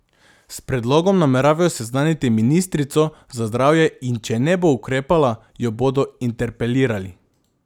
S predlogom nameravajo seznaniti ministrico za zdravje in če ne bo ukrepala, jo bodo interpelirali.